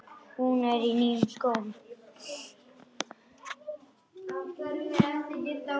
Hún er í nýjum skóm.